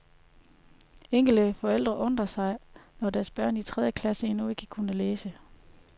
Enkelte forældre undrede sig, når deres børn i tredje klasse endnu ikke kunne læse.